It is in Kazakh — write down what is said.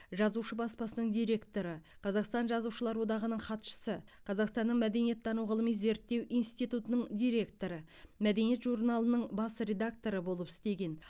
жазушы баспасының директоры қазақстан жазушылар одағының хатшысы қазақстанның мәдениеттану ғылыми зерттеу институтының директоры мәдениет журналының бас редакторы болып істеген